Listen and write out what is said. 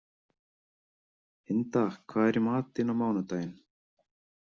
Inda, hvað er í matinn á mánudaginn?